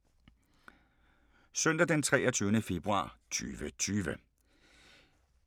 Søndag d. 23. februar 2020